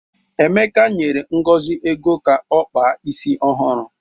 Emeka nyere Ngozi ego ka ọ kpaa isi ọhụrụ.